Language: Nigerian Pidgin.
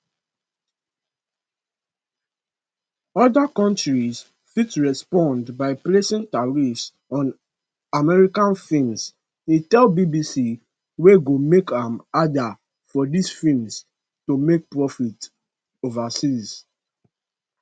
oda countries fit respond by placing tariffs on american films e tell bbc wey go make am harder for dis films to make profits overseas